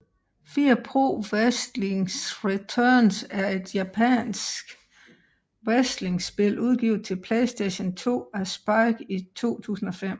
Fire Pro Wrestling Returns er et japansk wrestlingspil udgivet til PlayStation 2 af Spike i 2005